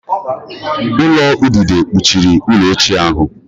Ulo udide kpuchiri ụlọ ochie ahụ